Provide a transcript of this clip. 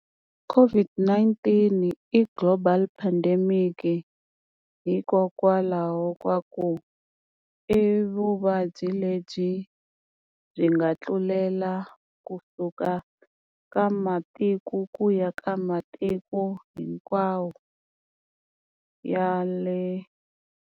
COVID-19 i global pandemic hikokwalaho ka ku i vuvabyi lebyi byi nga tlulela kusuka ka matiko ku ya ka matiko hinkwawo ya le.